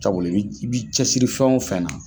Cabula i bi i bi cɛsiri fɛn o fɛn na.